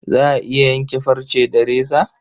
Za a iya yanke farce da reza?